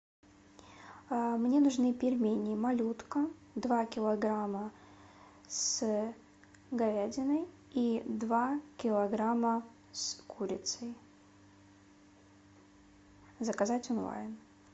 мне нужны пельмени малютка два килограмма с говядиной и два килограмма с курицей заказать онлайн